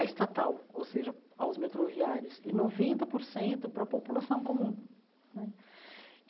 a estatal, ou seja, aos metroviários, e noventa por cento para a população comum né.